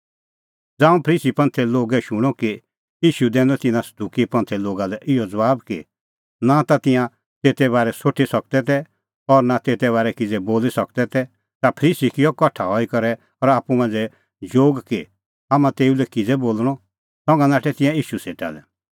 ज़ांऊं फरीसी शूणअ कि ईशू दैनअ तिन्नां सदुकी लै इहअ ज़बाब कि नां ता तिंयां तेते बारै सोठी सकदै तै और नां तेते बारै किज़ै बोली सकदै तै ता फरीसी किअ कठा हई करै आप्पू मांझ़ै जोग कि हाम्हां तेऊ लै किज़ै बोल़णअ संघा नाठै तिंयां ईशू सेटा लै